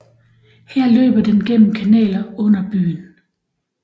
Her løber den gennem kanaler under byen